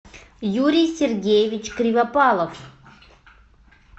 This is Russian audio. юрий сергеевич кривопалов